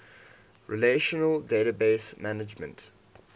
relational database management